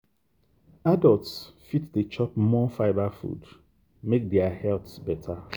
adults fit dey chop more fibre food make their health better.